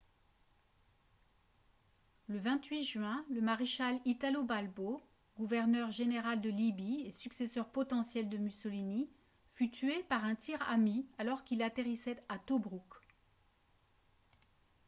le 28 juin le maréchal italo balbo gouverneur général de libye et successeur potentiel de mussolini fut tué par un tir ami alors qu'il atterrissait à tobrouk